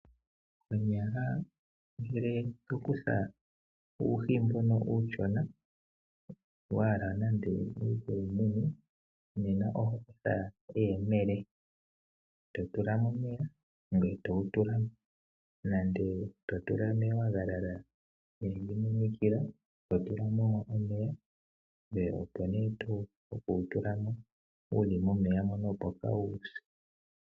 Konyala ngele to kutha uuhi mboka uushona wa hala nando owu ke wu mune, oho kutha eyemele e to tula mo omeya, ngoye to wu tula mo nenge to tula monayilona hayi monikila to tula mo omeya, opo nduno to wu tula mo wu li momeya opo kaa wuse.